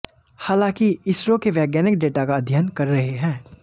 हालांकि इसरो के वैज्ञानिक डेटा का अध्ययन कर रहे हैं